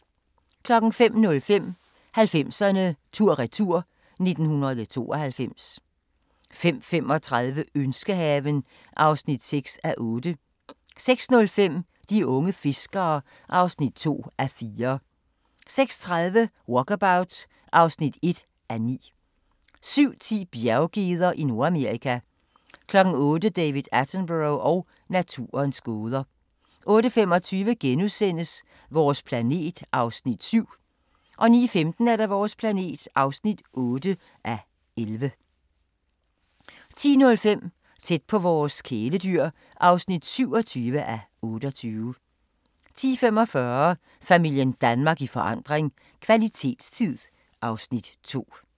05:05: 90'erne tur-retur: 1992 05:35: Ønskehaven (6:8) 06:05: De unge fiskere (2:4) 06:30: Walkabout (1:9) 07:10: Bjerggeder i Nordamerika 08:00: David Attenborough og naturens gåder 08:25: Vores planet (7:11)* 09:15: Vores planet (8:11) 10:05: Tæt på vores kæledyr (27:28) 10:45: Familien Danmark i forandring – kvalitetstid (Afs. 2)